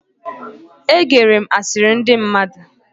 E gere m asiri ndi mmadu